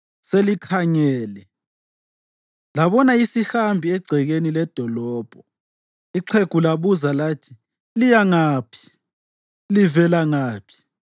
Selikhangele labona isihambi egcekeni ledolobho, ixhegu labuza lathi, “Liya ngaphi? Livela ngaphi?”